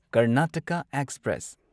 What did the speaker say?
Karnataka express